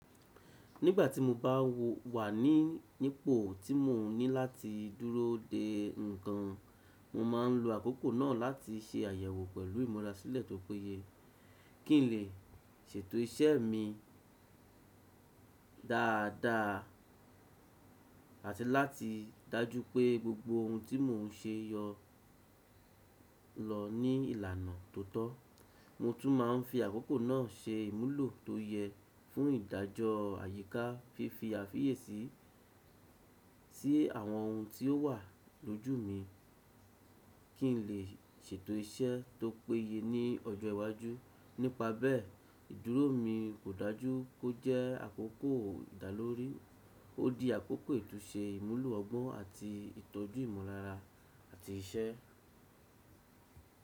Nígbà tí mo bá wà ní nípo tí mò ń ní láti dúró de ǹkan, mo máa ń lo àkókò náà láti ṣe àyẹ̀wò pẹ̀lú ìmúrasílẹ̀ tó péye kí n lè ṣètò iṣẹ́ mi dáadáa àti láti dájú pé gbogbo ohun tí mò ń ṣe yọ lọ ní ìlànà tó tọ́. Mo tún máa ń fi àkókò náà se ìmúlò tó yẹ fún ìdájọ́ àyíká, fífi àfiyèsí sí àwọn ohun tí ó wà lójú mi kí n lè ṣètò iṣẹ́ tó péye ní ọjọ́ iwájú. Nípa bẹ́ẹ̀, ìdúró mi kò dájú kó jẹ́ àkókò ìdálórí: ó di àkókò ìtúsẹ ìmúlò ọgbọ́n àti ìtọ́jú ìmọ̀lára àti iṣẹ́.